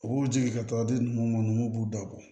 U b'u jigin ka taa di nunnu b'u dabɔ